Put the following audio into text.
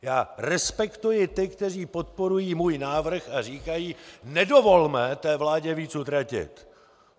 Já respektuji ty, kteří podporují můj návrh a říkají: Nedovolme té vládě víc utratit.